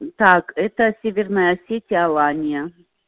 так это северная осетия алания